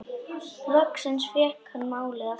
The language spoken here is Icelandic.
Loksins fékk hann málið aftur.